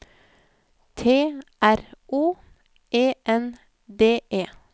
T R O E N D E